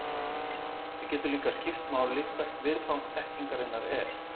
Það getur líka skipt máli hvert viðfang þekkingarinnar er.